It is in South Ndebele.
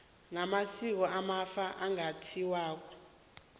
namasiko wamafa angathintwako